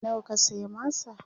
nawa ka saya masa?